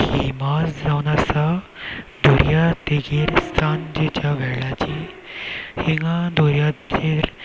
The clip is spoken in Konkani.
हि माळ जावन आसा दर्यादेगेर सांजेच्या वेळाची हिंगा दोऱ्याचेर.